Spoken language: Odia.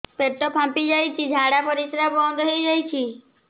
ପେଟ ଫାମ୍ପି ଯାଇଛି ଝାଡ଼ା ପରିସ୍ରା ବନ୍ଦ ହେଇଯାଇଛି